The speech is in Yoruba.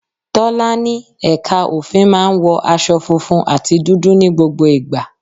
Tọ́lá ní ẹ̀ka òfin máa ń wọ aṣọ funfun àti dúdú ní gbogbo ìgbà.